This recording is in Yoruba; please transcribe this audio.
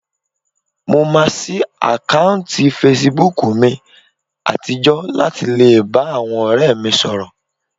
Mo máa ṣí àkáùntì fesibúùkù mi àtijọ́ láti lè bá àwọn ọ̀rẹ́ mi sọ̀rọ̀